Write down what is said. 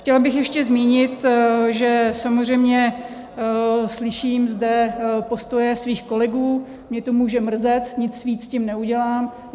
Chtěla bych ještě zmínit, že samozřejmě slyším zde postoje svých kolegů, mě to může mrzet, nic víc s tím neudělám.